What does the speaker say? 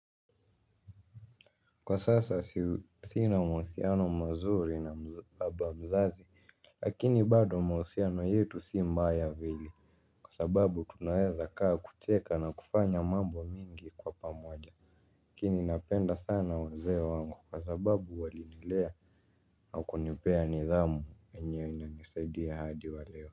Kwa sasa sina mahusiano mazuri na baba mzazi. Lakini bado mahusiano yetu si mbaya vile, kwa sababu tunaweza kaa kucheka na kufanya mambo mingi kwa pamoja. Lakini napenda sana wazee wangu kwa sababu walinilea na kunipea nidhamu yenye inanisaidia hadi waleo.